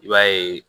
I b'a ye